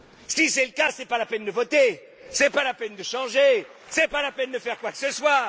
Si c'est le cas, c'est pas la peine de voter, c'est pas la peine de changer, c'est pas la peine de faire quoi que ce soit.